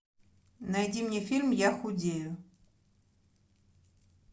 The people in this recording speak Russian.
найди мне фильм я худею